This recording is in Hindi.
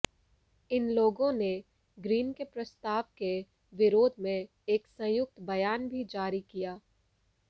इन लोगों ने ग्रीन के प्रस्ताव के विरोध में एक संयुक्त बयान भी जारी किया